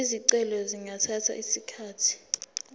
izicelo zingathatha isikhathi